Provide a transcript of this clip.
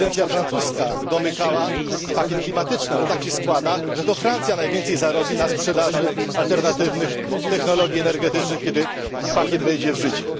Prezydencja francuska domykała pakiet klimatyczny, ale tak się składa, że to Francja najwięcej zarobi na sprzedaży alternatywnych technologii energetycznych, kiedy pakiet wejdzie w życie.